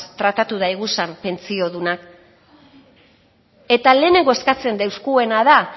tratatu daiguzan pentsiodunak eta lehenengo eskatzen dozkuena da